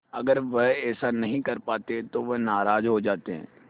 अगर वह ऐसा नहीं कर पाते तो वह नाराज़ हो जाते